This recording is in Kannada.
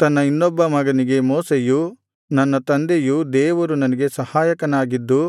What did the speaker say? ತನ್ನ ಇನ್ನೊಬ್ಬ ಮಗನಿಗೆ ಮೋಶೆಯು ನನ್ನ ತಂದೆಯ ದೇವರು ನನಗೆ ಸಹಾಯಕನಾಗಿದ್ದು